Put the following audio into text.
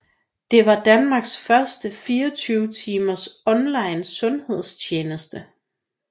Det var Danmarks første 24 times online sundhedstjeneste